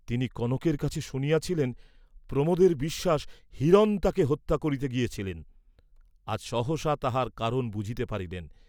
তিনি কনকের কাছে শুনিয়াছিলেন প্রমোদের বিশ্বাস, হিরণ তাহাকে হত্যা করিতে গিয়াছিলেন, আজ সহসা তাহার কারণ বুঝিতে পারিলেন।